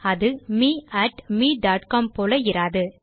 அது மே mecom போல இராது